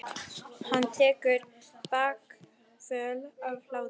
Hann tekur bakföll af hlátri.